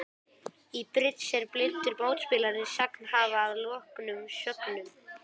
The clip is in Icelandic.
Í bridds er blindur mótspilari sagnhafa að loknum sögnum.